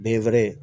Den wɛrɛ